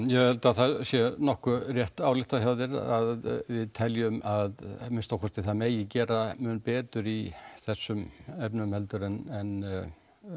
ég held að það sé nokkuð rétt ályktað hjá þér að við teljum að minnsta kosti að það megi gera mun betur í þessum efnum heldur en